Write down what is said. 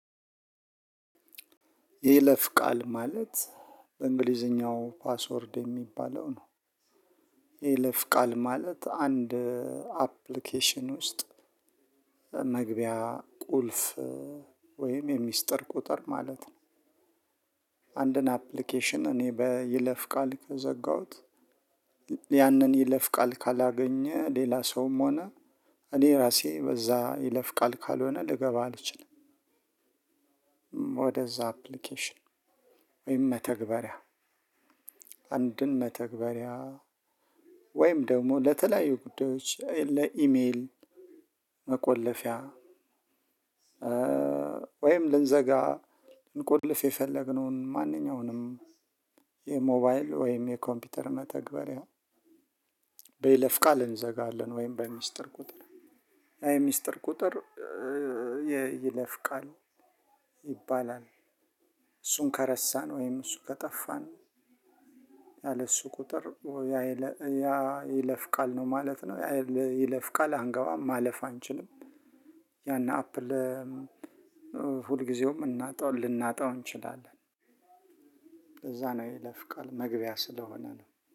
የይለፍ ቃል ማለት በእንግሊዘኛው ፓስወርድ የሚባለው ነው። የይለፍ ቃል ማለት አንድ አፕሊኬሽን ውስጥ መግቢያ ቁልፍ ወይም የሚስጥር ቁጥር ማለት ነው። አንድን አፕሊኬሽን እኔ በይለፍ ቃል ከዘጋሁት ያንን ይለፍ ቃል ካላገኘ ሌላ ሰውም ሆነ እኔ ራሴ በዛ ይለፍ ቃል ካልሆነ ልገባ አልችልም። ወደዛ አፕሊኬሽን ወይም መተግበሪያ አንድን መተግበሪያ ወይም ደግሞ ለተለያዩ ጉዳዮች ለኢሜይል መቆለፊያ። ወይም ልንዘጋ ልንቆልፍ የፈለግነውን ማንኛውንም የሞባይል ወይም የኮምፒውተር መተግበሪያ በይለፍ ቃል እንዘጋለን ወይም በሚስጥር ቁጥር ያ የሚስጥር ቁጥር የይለፍቃል ይባላል። እሱን ከረሳን ወይም እሱ ከጠፋን ያለ እሱ ቁጥር ወይ ያ ይለፍ ቃል ነው ማለት ነው ያለ ይለፍ ቃል አንገባም ማለፍ አንችልም። ያን አፕል ሁልጊዜውም ልናጣው እንችላለን። እዛ ነው የይለፍ ቃል መግቢያ ስለሆነ ነው